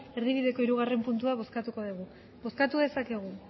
erdibideko hirugarrena puntua bozkatuko dugu bozkatu dezakegu